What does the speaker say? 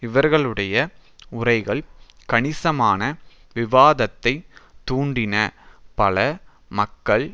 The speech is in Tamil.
இவர்களுடைய உரைகள் கணிசமான விவாதத்தை தூண்டின பல மக்கள்